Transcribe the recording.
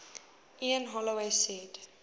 ian holloway said